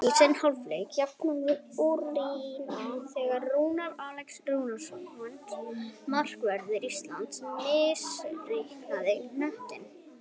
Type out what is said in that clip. Í seinni hálfleik jafnaði Úkraína þegar Rúnar Alex Rúnarsson, markvörður Íslands, misreiknaði knöttinn.